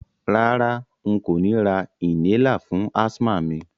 Rárá, n kò ni ra inhaler fún asthma mi